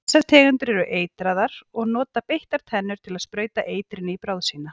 Þessar tegundir eru eitraðar og nota beittar tennurnar til að sprauta eitrinu í bráð sína.